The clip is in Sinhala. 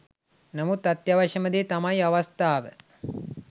නමුත් අත්‍යවශ්‍ය ම දේ තමයි අවස්ථාව.